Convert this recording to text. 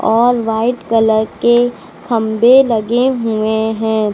White colour के खंभे लगे हुए हैं।